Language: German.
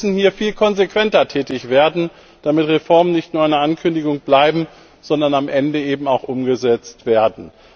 Sie müssen hier viel konsequenter tätig werden, damit Reformen nicht nur eine Ankündigung bleiben, sondern am Ende auch umgesetzt werden.